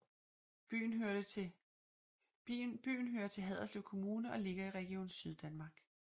Byen hører til Haderslev Kommune og ligger i Region Syddanmark